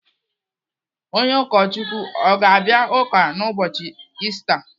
Onye ụkọchukwu ọ ga-abịa ụka n'ụbọchi Ista?